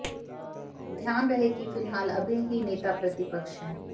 ध्यान रहे कि फिलहाल अभय ही नेता प्रतिपक्ष हैं